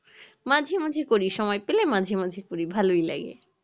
মাঝে মাঝে পড়ি সময় পেলে মাঝে মাঝে পড়ি ভালোই লাগে